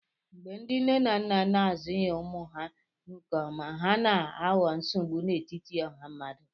Mgbe ndị nne na nna na-azụghị ụmụ ha nke ọma, ha na-aghọ nsogbu n'etiti ọha mmadụ